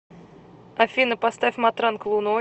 афина поставь матранг луной